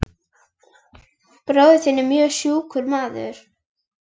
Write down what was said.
Bróðir þinn var mjög sjúkur maður.